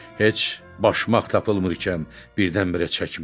Heç başmaq tapılmırkən birdən-birə çəkmə?